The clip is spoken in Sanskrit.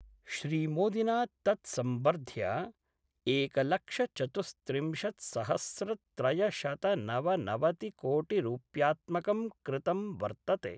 श्रीमोदिना तत् सम्वर्ध्य एकलक्षचतुस्त्रिंशत्सहस्रत्रयशतनवनवतिकोटिरुप्यात्मकं कृतं वर्तते।